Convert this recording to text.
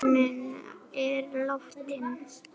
Elsku pabbi minn er látinn.